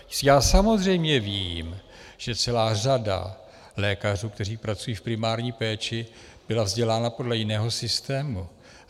Já samozřejmě vím, že celá řada lékařů, kteří pracují v primární péči, byla vzdělána podle jiného systému.